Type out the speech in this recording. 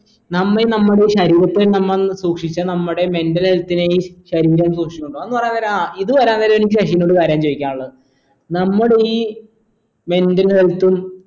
നമ്മ ഈ നമ്മടെ ശരീരത്തെ നമ്മൾ സൂക്ഷിച്ചാ നമ്മടെ mental health നെയും ശരീരം സൂക്ഷിക്കും അതന്ന് പറയാ നേരാ ആ ഇത് പറയാനേരം എനിക്ക് ശശിനോട് ഒരു കാര്യം ചോയ്‌ക്കാനുള്ളത് നമ്മുടെ ഈ mental health ഉം